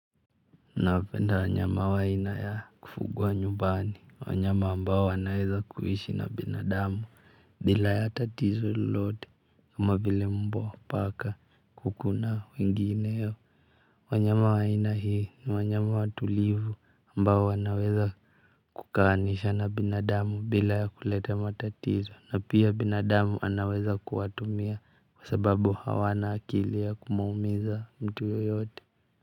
Ninawapenda wanyama wa aina ya kufugwa nyubani wanyama ambao wanaweza kuishi na binadamu bila ya tatizo lolote kama vile mbwa paka kuku na wengineo wanyama wa aina hii ni wanyama watulivu ambao wanaweza kukaanisha na binadamu bila ya kuleta matatizo na pia binadamu anaweza kuwatumia kwa sababu hawana akili ya kumuumiza mtu yeyote. Kwa hivyo.